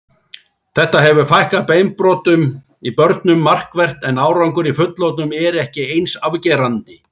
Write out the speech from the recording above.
Þetta hefur fækkað beinbrotum í börnum markvert en árangur í fullorðnum er ekki eins afgerandi.